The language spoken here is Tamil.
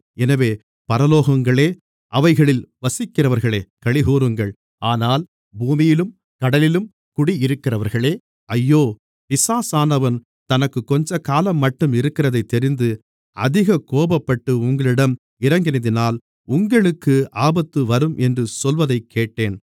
எனவே பரலோகங்களே அவைகளில் வசிக்கிறவர்களே களிகூருங்கள் ஆனால் பூமியிலும் கடலிலும் குடியிருக்கிறவர்களே ஐயோ பிசாசானவன் தனக்குக் கொஞ்சக்காலம்மட்டும் இருக்கிறதைத் தெரிந்து அதிக கோபப்பட்டு உங்களிடம் இறங்கினதினால் உங்களுக்கு ஆபத்துவரும் என்று சொல்வதைக்கேட்டேன்